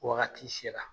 Wagati sera